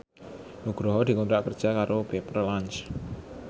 Nugroho dikontrak kerja karo Pepper Lunch